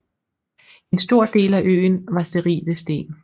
En stor del af øen var sterile sten